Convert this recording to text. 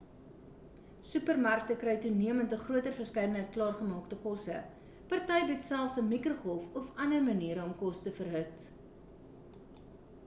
supermarkte kry toenemend 'n groter verskeidenheid klaargemaakte kosse party bied selfs 'n mikrogolfoond of ander maniere om kos te verhit